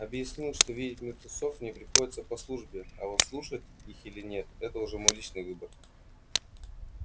объяснил что видеть мертвецов мне приходится по службе а вот слушать их или нет это уже мой личный выбор